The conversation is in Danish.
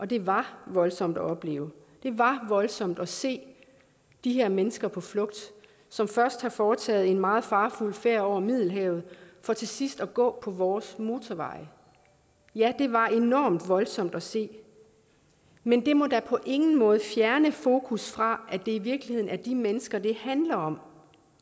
det var voldsomt at opleve det var voldsomt at se de her mennesker på flugt som først har foretaget en meget farefuld færd over middelhavet for til sidst at gå på vores motorveje ja det var enormt voldsomt at se men det må da på ingen måde fjerne fokus fra at det i virkeligheden er de mennesker det handler om